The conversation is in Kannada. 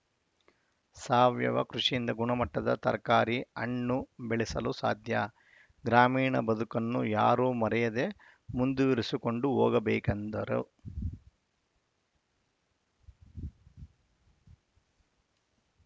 ಸಾವಯವ ಕೃಷಿಯಿಂದ ಗುಣಮಟ್ಟದ ತರಕಾರಿ ಹಣ್ಣು ಬೆಳೆಸಲು ಸಾಧ್ಯ ಗ್ರಾಮೀಣ ಬದುಕನ್ನು ಯಾರು ಮರೆಯದೆ ಮುಂದುವರಿಸಿಕೊಂಡು ಹೋಗಬೇಕೆಂದರು